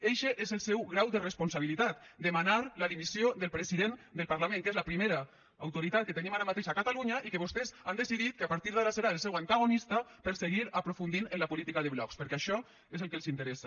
eixe és el seu grau de responsabilitat demanar la dimissió del president del parlament que és la primera autoritat que tenim ara mateix a catalunya i que vostès han decidit que a partir d’ara serà el seu antagonista per a seguir aprofundint en la política de blocs perquè això és el que els interessa